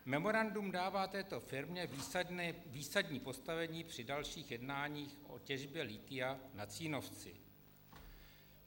Memorandum dává této firmě výsadní postavení při dalších jednáních o těžbě lithia na Cínovci.